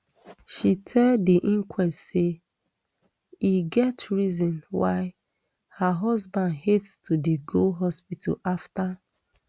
she tell di inquest say e get reason why her husband hate to dey go hospital afta